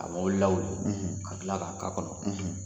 A wulila o la ka tila k'a k'a kɔnɔ.